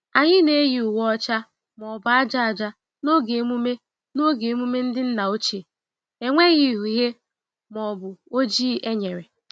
Anyị na-eyi uwe ọcha ma ọ bụ aja aja n'oge emume n'oge emume ndị nna ochie - enweghị uhie ma ọ bụ oji enyere.